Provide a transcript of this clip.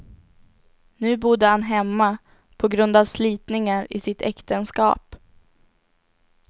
Nu bodde han hemma på grund av slitningar i sitt äktenskap.